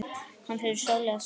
Hans verður sárlega saknað.